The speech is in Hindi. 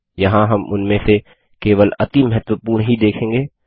यहाँ हम उनमें से केवल अति महत्वपूर्ण ही देखेंगे